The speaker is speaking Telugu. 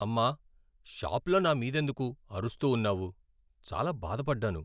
అమ్మా! షాప్లో నా మీదెందుకు అరుస్తూ ఉన్నావు, చాలా బాధపడ్డాను.